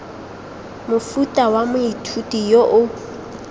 mofuta wa moithuti yo o